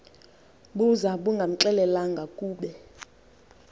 buza bungamxelelanga kube